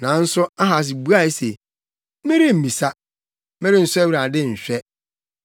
Nanso Ahas buae se, “Meremmisa, merensɔ Awurade nhwɛ.”